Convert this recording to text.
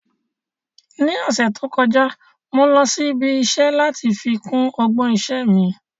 Ní ọ̀sẹ̀ tó kọjá, mo lọ sí ibi iṣẹ́ láti fi kún ọgbọ́n iṣẹ́ mi